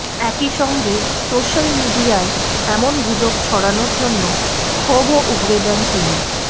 একইসঙ্গে সোশ্যাল মিডিয়ায় এমন গুজব ছড়ানোর জন্য ক্ষোভও উগরে দেন তিনি